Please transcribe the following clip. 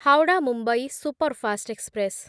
Howrah Mumbai superfast express